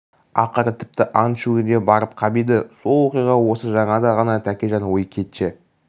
ақыры тіпті ант ішуге де барып қап еді сол уақиға осы жаңада ғана тәкежан өй кетші